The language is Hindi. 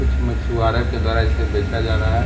कुछ मछुआरों के द्वारा इसे बेचा जा रहा है।